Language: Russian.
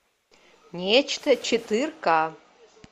нечто четыре ка